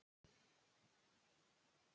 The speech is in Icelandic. Hallfreður, hvernig er veðurspáin?